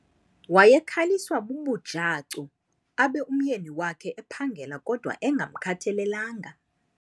Wayekhaliswa bubujacu abe umyeni wakhe ephangela kodwa engamkhathalelanga.